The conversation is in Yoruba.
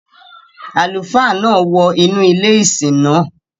Àlùfáà náà wọ inú ilé ìsìn náà.